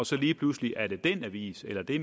så lige pludselig er den avis eller det